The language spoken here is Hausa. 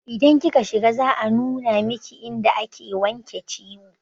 Idan kika shiga za a nuna miki inda ake wanke ciwo